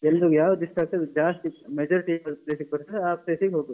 ಎಲ್ರಿಗೂ ಯಾವ್ದು ಇಷ್ಟ ಆಗ್ತದೆ ಜಾಸ್ತಿ majority ಹೇಗ್ ಯಾವ place ಗೆ ಬರ್ತದೆ ಆ place ಗೆ ಹೋಗುದು.